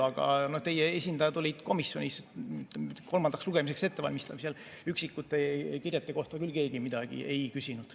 Aga teie esindajad olid komisjonis, kolmandaks lugemiseks ettevalmistamisel üksikute kirjete kohta küll keegi midagi ei küsinud.